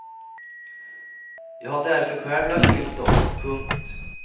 Jag har därför själv lagt till stoff. punkt